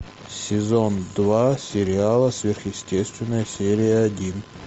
сезон два сериала сверхъестественное серия один